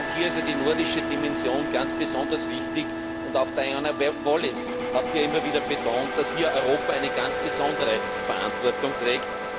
Hier ist ja die nordische Dimension ganz besonders wichtig, und auch Diana Wallis hat immer wieder betont, dass Europa hier eine ganz besondere Verantwortung trägt.